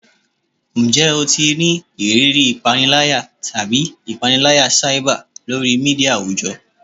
Njẹ o ti ni iriri ipanilaya tabi ipanilaya cyber lori media awujọ?